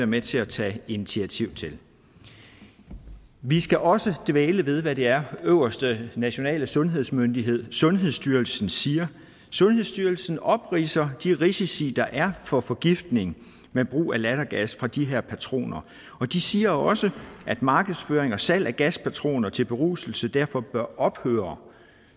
med til at tage initiativ til vi skal også dvæle ved hvad det er den øverste nationale sundhedsmyndighed sundhedsstyrelsen siger sundhedsstyrelsen opridser de risici der er for forgiftning ved brug af lattergas fra de her patroner og de siger også at markedsføring og salg af gaspatroner til beruselse derfor bør ophøre